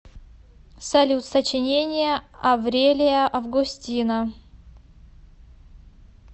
салют сочинение аврелия августина